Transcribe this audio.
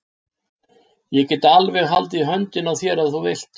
Ég get alveg haldið í höndina á þér ef þú vilt!